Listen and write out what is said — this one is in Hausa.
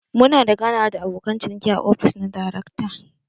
Muna da ganawa da abokan ciniki a ofis na darekta.